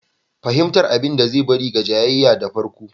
Fahimtar abin da zai bari ga jayayya da farko.